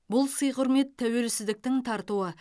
бұл сый құрмет тәуелсіздіктің тартуы